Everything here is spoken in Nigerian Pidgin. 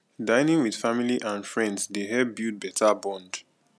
dining with family and friends dey help build better bond